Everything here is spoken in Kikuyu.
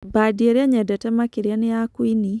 Bandĩ ĩrĩa nyendete makĩrĩa nĩ ya qũĩnĩ